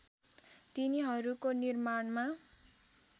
तिनीहरूको निर्माणमा